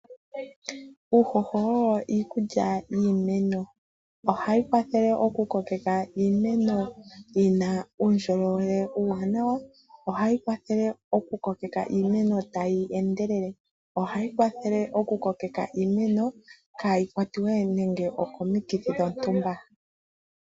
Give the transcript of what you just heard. Uuhoho owo iikulya yiimeno ohawu kwathele okukokeka iimeno yina uundjolowele uuwanawa, ohayi kwathele okukokeka iimeno tayi endelele, ohayi kwathele wo okukokeka iimeno kaayi kwatwe nande okomikithi dhontumba.